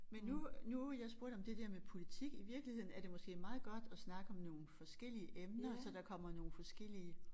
Men nu nu jeg spurgte om det der med politik i virkeligheden er det måske meget godt at snakke om nogle forskellige emner så der kommer nogle forskellige